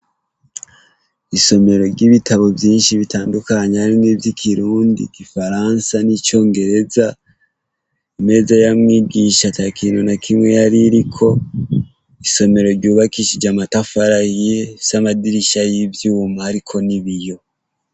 Isomero ry'ibitabo vyinshi bitandukanye harimwo ivy'ikirundi, igifaransa n'icongereza imeza ya mwigisha ata kintu na kimwe yari iriko isomero ryubakishije amatafari ahiye rifise amadirisha y'ivyuma hariko n'ibiyo.